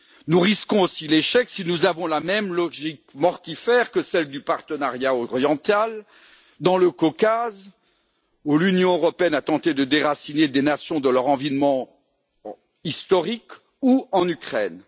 Nous risquons aussi l'échec si nous avons la même logique mortifère que celle du partenariat oriental dans le Caucase où l'Union européenne a tenté de déraciner des nations de leur environnement historique, ou en Ukraine.